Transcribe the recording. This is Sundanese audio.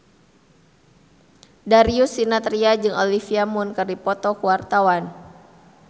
Darius Sinathrya jeung Olivia Munn keur dipoto ku wartawan